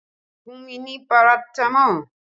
Fún mi ní paratamọ́ọ̀!